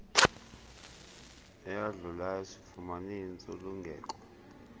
eyadlulayo sifumane intsulungeko